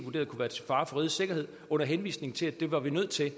fare for rigets sikkerhed under henvisning til at det var vi nødt til